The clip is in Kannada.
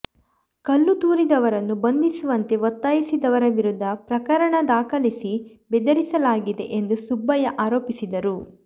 ಕಲ್ಲುತೂರಿದವರನ್ನು ಬಂಧಿಸುವಂತೆ ಒತ್ತಾಯಿಸಿದವರ ವಿರುದ್ಧ ಪ್ರಕರಣ ದಾಖಲಿಸಿ ಬೆದರಿಸಲಾಗಿದೆ ಎಂದು ಸುಬ್ಬಯ್ಯ ಆರೋಪಿಸಿದರು